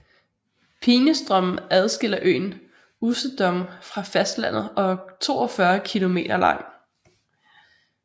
Peenestrom adskiller øen Usedom fra fastlandet og er 42 km lang